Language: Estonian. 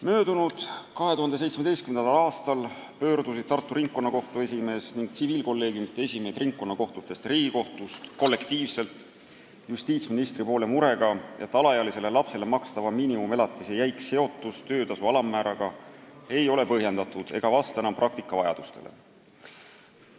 Möödunud, 2017. aastal pöördusid Tartu Ringkonnakohtu esimees ning tsiviilkolleegiumide esimehed ringkonnakohtutest ja Riigikohtust kollektiivselt justiitsministri poole murega, et alaealisele lapsele makstava miinimumelatise jäik seotus töötasu alammääraga ei ole põhjendatud ega vasta enam praktika vajadustele.